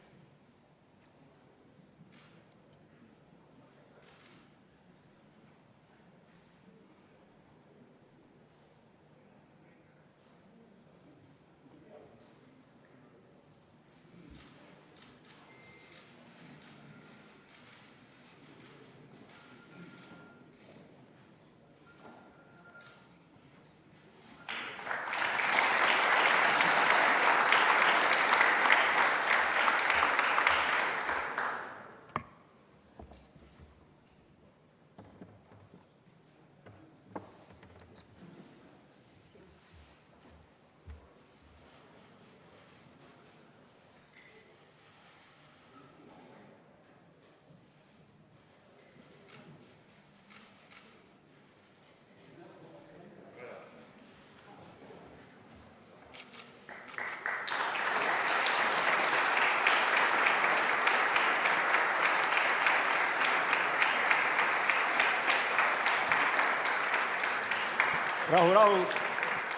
Rahu-rahu!